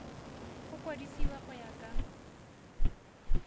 go kwadisiwa go ya ka